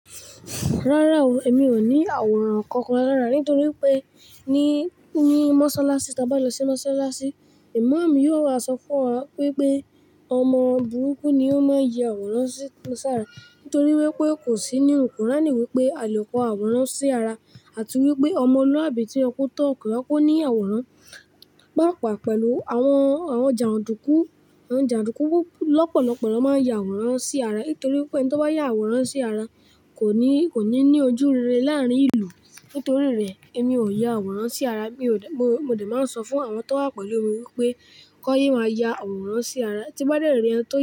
Rárá o, èmi ò ní àwòrán kankan lára nítorí pé ní, ní mọ́ṣáláṣí, tí a bá lọ sí mọ́ṣáláṣí, ìmáàmù yóò wá sọ fún wa pé pé ọmọ burúkú ni ó máa ń ya àwòrán sí sára nítorí wípé kò sí ní kùránì wípé àle ko àwòrán sí ara àti wípé ọmọ luabì tí ọkọ tán, ko ye ko ní àwòrán. Pàápàá pẹ̀lú àwọn, àwọn jàndùkú, àwọn jàndùkú lọ́pọ̀lọpọ̀ lo máa ń ya àwòrán sí ara nítorí wípé ẹni tó bá ya àwòrán sí ara kò ní, kò ní ní ojú rere láàárín ìlú. Nítorí rẹ̀, èmi ò ya àwòrán sí ara. Mi ò de, mo, mo de máa ń sọ fún àwọn tó wà pẹ̀lú mi wípé kon yé máa ya àwòrán sí ara. Tí bá dẹ́rìn ei ẹni tó ya.